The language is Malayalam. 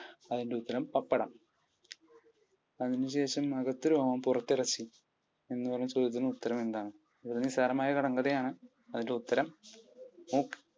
അതിൻ്റെ ഉത്തരം പപ്പടം. അതിനുശേഷം അകത്തു രോമം പുറത്തു ഇറച്ചി എന്ന് പറഞ്ഞു ചോദിക്കുന്നു ഉത്തരമെന്താണ്? ഇതൊരു നിസാരമായ കടങ്കഥയാണ്. അതിൻ്റെ ഉത്തരം മൂക്ക്.